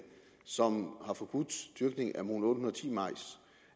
som har forbudt dyrkningen